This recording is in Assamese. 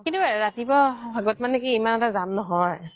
কিন্তু ৰাতিপুৱা ভাগত ইমান এটা যাম নহয়